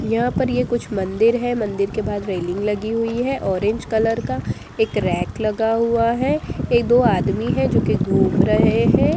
यहां पर ये कुछ मंदिर है मंदिर के बाहर कुछ रेलिंग लगी हुई है ऑरेंज कलर का एक रैक लगा हुआ है एक दो आदमी है जो कि घूम रहे है।